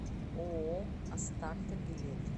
ооо астарта билет